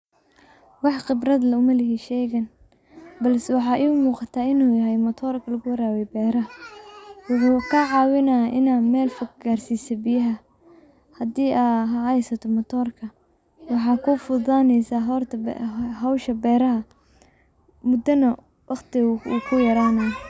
Wax qibrad ah umalihi sheygan bulse waxa imuqata inu yahay matorka luguwarawiyo beraha oo kacawinayo in ad meel fog garsiso biyaha hadi ad hesato matirka waxa kufududaneysa howsha beraha mudana waqti wu kuyaranaya.